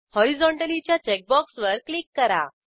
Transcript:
horizontally च्या check बॉक्सवर click करा